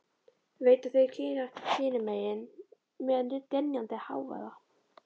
Veit að þeir keyra hinum megin niður með dynjandi hávaða.